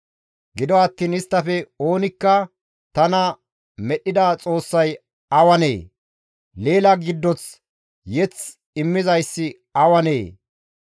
Gido attiin isttafe oonikka, ‹Tana medhdhida Xoossay awanee? Leela giddoth mazamure immizayssi awanee?